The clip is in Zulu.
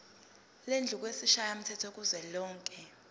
lendlu yesishayamthetho kuzwelonke